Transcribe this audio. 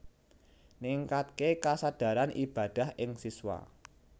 Ningkatké kasadaran ibadah ing siswa